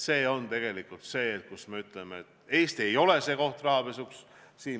Siin me ütleme, et Eesti ei ole koht rahapesuks.